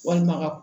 Walima ka